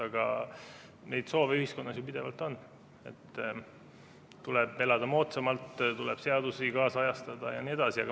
Aga neid soove ühiskonnas ju pidevalt on, et tuleb elada moodsamalt, tuleb seadusi kaasajastada jne.